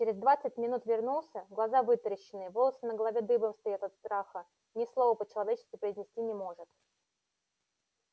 через двадцать минут вернулся глаза вытаращенные волосы на голове дыбом стоят от страха ни слова по-человечески произнести не может